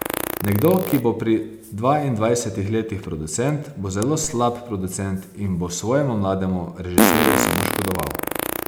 Nekdo, ki bo pri dvaindvajsetih letih producent, bo zelo slab producent in bo svojemu mlademu režiserju samo škodoval.